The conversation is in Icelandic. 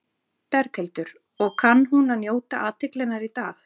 Berghildur: Og kann hún að njóta athyglinnar í dag?